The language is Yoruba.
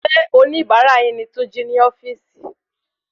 Ṣé oníbárà yin ni túnjí ni ofíìsì?